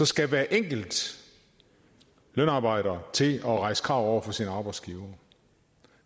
skal hver enkelt lønarbejder til at rejse krav over for sin arbejdsgiver